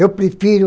Eu prefiro